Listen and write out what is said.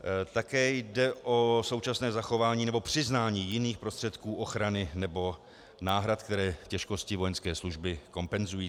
Také jde o současné zachování nebo přiznání jiných prostředků ochrany nebo náhrad, které těžkosti vojenské služby kompenzují.